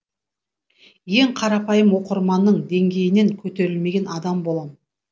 ең қарапайым оқырманның деңгейінен көтерілмеген адам болам